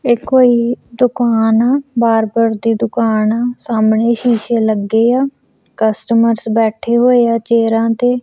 ਇਹ ਕੋਈ ਦੁਕਾਨ ਆ ਬਾਰਬਰ ਦੇ ਦੁਕਾਨ ਸਾਹਮਣੇ ਸ਼ੀਸ਼ੇ ਲੱਗੇ ਆ ਕਸਟਮਰਸ ਬੈਠੇ ਹੋਏ ਆ ਚੇਅਰਾਂ ਤੇ।